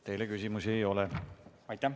Teile küsimusi ei ole.